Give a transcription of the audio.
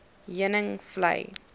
heuningvlei